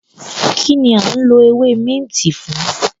Kínní a ń lọ ewé minti fún?